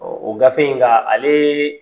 o gafe in nka alee